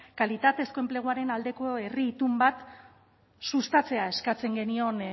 kalitatezko enpleguaren aldeko herri itun bat sustatzea eskatzen genion